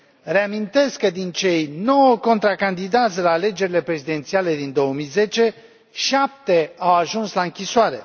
Reamintesc că, din cei nouă contracandidați la alegerile prezidențiale din 2010, șapte au ajuns la închisoare.